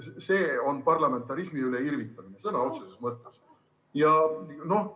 See on parlamentarismi üle irvitamine sõna otseses mõttes.